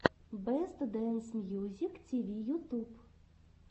бэст дэнс мьюзик тиви ютуб